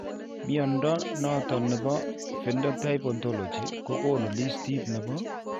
Mnyondo noton nebo Phenotype Ontology kogonu listiit nebo